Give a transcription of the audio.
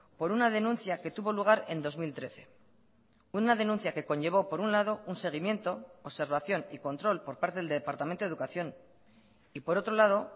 por una denuncia que tuvo lugar en dos mil trece una denuncia que conllevó por un lado un seguimiento observación y control por parte del departamento de educación y por otro lado